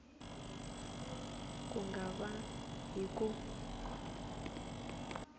ku nga va hi ku